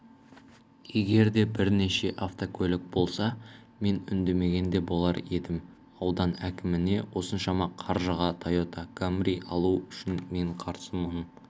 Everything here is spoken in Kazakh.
егер де бірнеше автокөлік болса мен үндемеген де болар едім аудан әкіміне осыншама қаржыға тойота камри алу үшін мен қарсымын